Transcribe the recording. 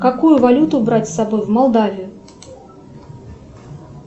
какую валюту брать с собой в молдавию